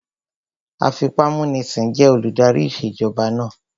Afipámúnisìn jẹ́ olùdarí ìṣèjọba náà